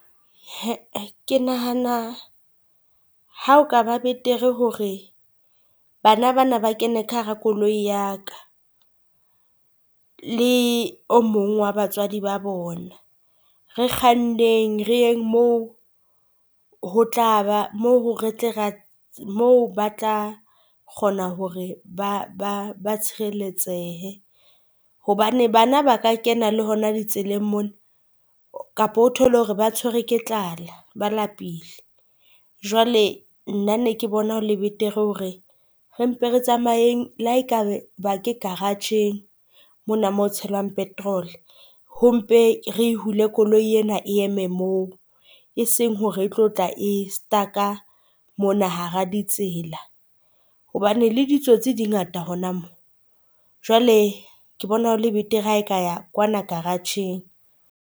Ke nahana ha o kaba betere hore bana bana ba kene ka hara koloi ya ka le o mong wa batswadi ba bona. Re kganneng re yeng mo ba tla kgona hore ba ba tshireletsehe. Hobane bana ba ka kena le hona le tseleng mona kapa o thole hore ba tshwerwe ke tlala, ba lapile. Jwale nna ne ke bona le betere hore re mpe re tsamaeng la hae kabe ba ke garage-eng mona mo ho tshelwang petrol. Ho mpe re hule koloi ena e eme mo e seng hore e tlo tla e stuck-a mona hara ditsela. Hobane le ditsotsi di ngata hona moo jwale ke bona ho le betere, ha e ka ya kwana karatjheng.